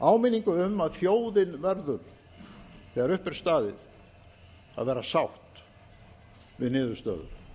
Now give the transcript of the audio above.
áminningu um að þjóðin verður þegar upp er staðið að vera sátt við niðurstöður